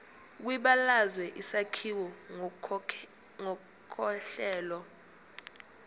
kwibalazwe isakhiwo ngokohlelo